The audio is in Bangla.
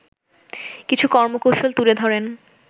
কিছু কর্মকৌশল তুলে ধরেন